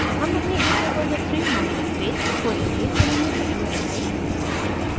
हम अपनी git repository mywebpage खोलेंगे जो हमने पहले बनाई